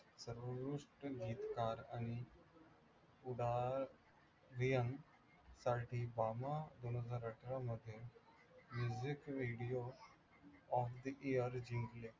सर्वोत्कृष्ट गीतकार आणि साठी दोनहजार अठरामध्ये मिरजेत radio of the year जिंकले.